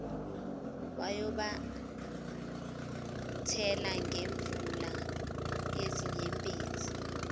wayobathela ngemvula yezinyembezi